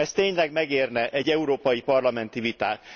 Ez tényleg megérne egy európai parlamenti vitát.